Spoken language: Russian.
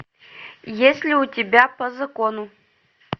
есть ли у тебя по закону